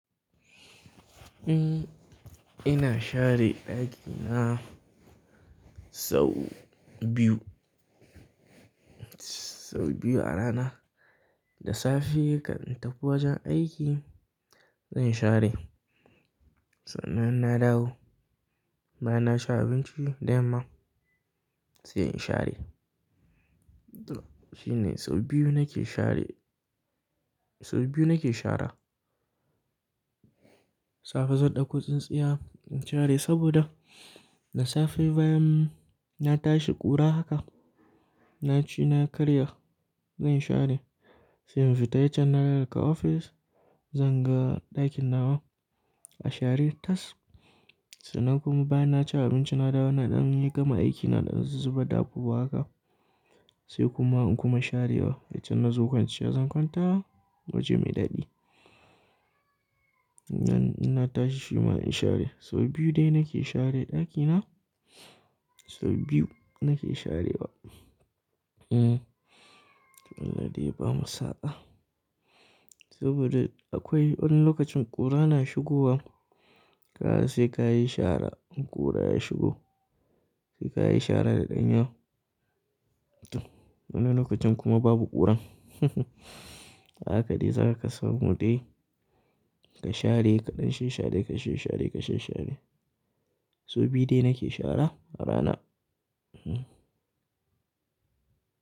Eh ina share ɗakina sau biyu, sau biyu a rana. Da safe kan in tafi wajen aiki zan share. Sannan na dawo, bayan na ci abinci dayamma sai in share. To shine sau biyu nake share, sau biyu nake shara. Safe zan ɗauko tsintsiya in share saboda da safe bayan na tashi ƙura haka, na ci na karya zan share. Sai in fita yaccan inna idan na dawo daga ofis, zan ga ɗakin nawa a share tas. Sannan kuma bayan na ci abinci na dawo na ɗan yi gama aiki na ɗan zu zubar da abubuwa haka, sai kuma in kuma sharewa. Yaccan na zo kwanciya zan kwanta waje mai dadi. Nan ina tashi shima in share. Sau biyu dai nake share ɗakina, sau biyu nake sharewa. Hmm, wallahi ba masa'a saboda akwai wani lokacin ƙura na shigowa, kada sai ka yi shara ƙura ya shigo. Sai ka yi shara daɗenya To wani lokacin kuma babu ƙura. Haka dai zaka kasamu dai ka share, kaɗan shi share, kashe share, kashe share. Sau biyu dai nake shara a rana. Hmm.